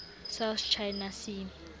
south china sea